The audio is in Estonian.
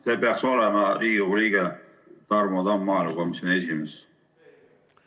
See peaks olema Riigikogu liige Tarmo Tamm, maaelukomisjoni esimees.